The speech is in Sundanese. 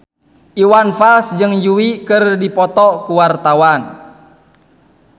Iwan Fals jeung Yui keur dipoto ku wartawan